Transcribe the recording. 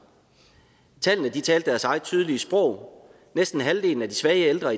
tallene talte deres eget tydelige sprog næsten halvdelen af de svage ældre